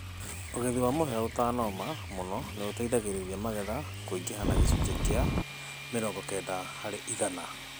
ũgethĩ wa mũhĩa ũtanooma mũno nĩ ũteĩthagĩrĩrĩa magetha kũĩngĩha na gĩcũnjĩ kĩa mĩrongo kenda harĩ ĩgana